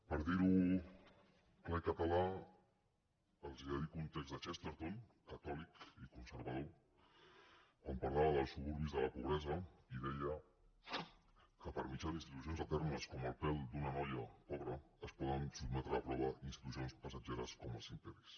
per dir ho clar i català els dedico un text de chesterton catòlic i conservador quan parlava dels suburbis de la pobresa i deia que per mitjà d’institucions eternes com el pèl d’una noia pobra es poden sotmetre a prova institucions passatgeres com els imperis